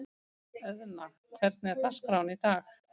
Eðna, hvernig er dagskráin í dag?